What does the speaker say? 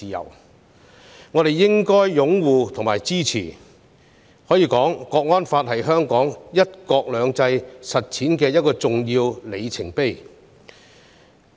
因此，我們應該擁護及支持《香港國安法》，它是香港"一國兩制"實踐的一個重要里程碑。